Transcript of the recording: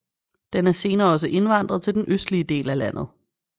Den er senere også indvandret til den østlige del af landet